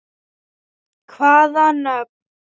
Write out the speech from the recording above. Hvaða nöfn?